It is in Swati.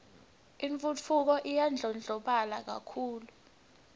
intfutfuko iyandlondlobala kakhulu